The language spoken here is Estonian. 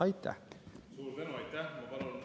Aitäh!